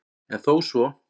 En þó svo